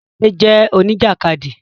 Tádé jẹ́ Oníjàkádì